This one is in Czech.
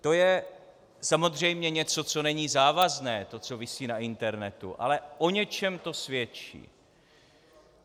To je samozřejmě něco, co není závazné, to co visí na internetu, ale o něčem to svědčí.